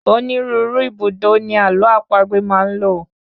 onírúurú ibùdó ni àlọ́ àpagbè maa ń lò